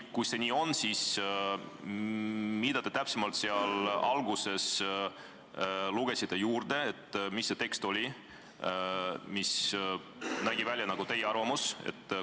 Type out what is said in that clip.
Kui see nii on, siis pean ütlema, et see tekst, mille te alguses ette lugesite, nägi välja nagu teie arvamuse esitamine.